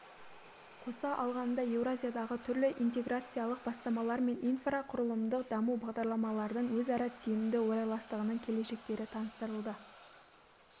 қоса алғанда еуразиядағы түрлі интеграциялық бастамалар мен инфрақұрылымдық даму бағдарламалардың өзара тиімді орайластығының келешектері таныстырылды